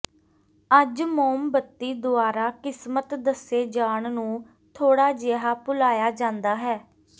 ਅੱਜ ਮੋਮਬੱਤੀ ਦੁਆਰਾ ਕਿਸਮਤ ਦੱਸੇ ਜਾਣ ਨੂੰ ਥੋੜਾ ਜਿਹਾ ਭੁਲਾਇਆ ਜਾਂਦਾ ਹੈ